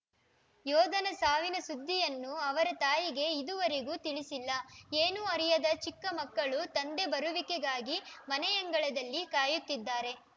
ಯೋಧನ ಸಾವಿನ ಸುದ್ದಿಯನ್ನು ಅವರ ತಾಯಿಗೆ ಇದುವರೆಗೂ ತಿಳಿಸಿಲ್ಲ ಏನೂ ಅರಿಯದ ಚಿಕ್ಕ ಮಕ್ಕಳು ತಂದೆ ಬರುವಿಕೆಗಾಗಿ ಮನೆಯಂಗಳದಲ್ಲಿ ಕಾಯುತ್ತಿದ್ದಾರೆ